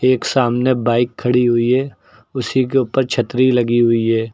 एक सामने बाइक खड़ी हुई है उसी के ऊपर छतरी लगी हुई है।